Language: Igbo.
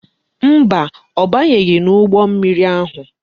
Mba, ọ banyeghị n'ụgbọ mmiri ahụ.